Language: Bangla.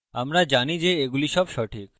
আমরা জানি যে এইগুলি সব সঠিক